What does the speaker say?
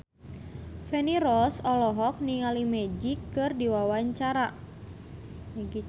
Feni Rose olohok ningali Magic keur diwawancara